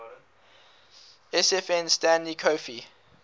sfn stanley coffey